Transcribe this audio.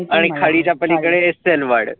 आणि खाडीच्या पलिकडे